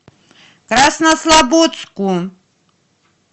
краснослободску